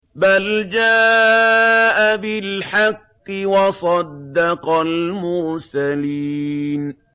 بَلْ جَاءَ بِالْحَقِّ وَصَدَّقَ الْمُرْسَلِينَ